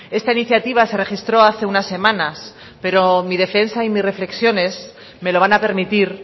esta iniciativa se registró hace unas semanas pero mi defensa y mis reflexiones me lo van a permitir